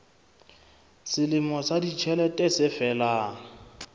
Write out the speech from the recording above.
selemo sa ditjhelete se felang